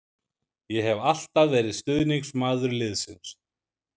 Ég hef alltaf verið stuðningsmaður liðsins.